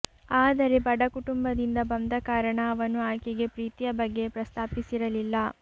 ಆದರೆ ಬಡ ಕುಟುಂಬದಿಂದ ಬಂದ ಕಾರಣ ಅವನು ಆಕೆಗೆ ಪ್ರೀತಿಯ ಬಗ್ಗೆ ಪ್ರಸ್ತಾಪಿಸಿರಲಿಲ್ಲ